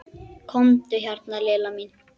Komdu hérna Lilla mín.